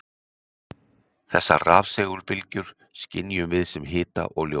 Þessar rafsegulbylgjur skynjum við sem hita og ljós.